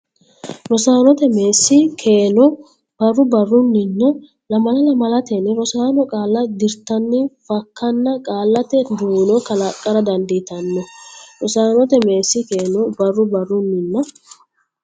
Rosaanote Meessi keeno barru barrunninna lamala lamalatenni rossanno qaalla dirtanni fakkana qaallate duuno kalaqqara dandiitanno Rosaanote Meessi keeno barru barrunninna.